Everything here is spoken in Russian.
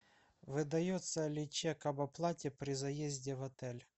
выдается ли чек об оплате при заезде в отель